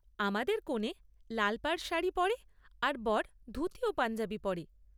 আমাদের কনে লাল পাড় শাড়ি পরে আর বর ধুতি ও পাঞ্জাবি পরে।